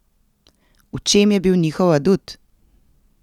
V čem je bil njihov adut?